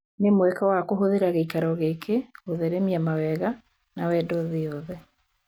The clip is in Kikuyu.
"Nĩ mweke wa kũhũthĩra gĩikaro gĩkĩ gũtheremia mawega na wendo thĩ yothe."